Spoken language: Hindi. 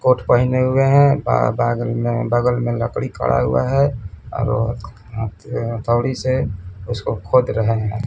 कोट पहने हुए हैं ब बागल में बगल में लकड़ी खड़ा हुआ है और हथ हथौड़ी से उसको खोद रहे है।